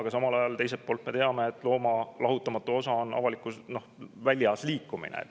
Aga samal ajal teiselt poolt me teame, et looma elu lahutamatu osa on väljas liikumine.